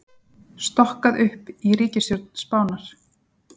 Stokkað upp í ríkisstjórn Spánar